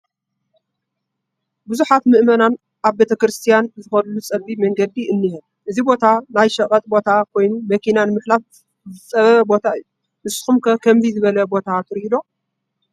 ብዙሓት ምእመናን ናብ ቤተ ክርስትያን ዝኸድሉ ፀቢብ መንገዲ እኒሀ፡፡ እዚ ቦታ ናይ ሸቐጥ ቦታ ኮይኑ መኪና ንምሕላፍ ዝፀበበ ቦታ እዩ፡፡ ንስኹም ከ ከምዚ ዝበለ ቦታ ትሪኡ?